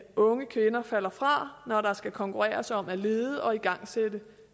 unge kvinder falder fra når der skal konkurreres om at lede og igangsætte